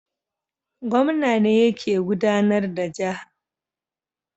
Gwamna ne yake gudAnar da jaha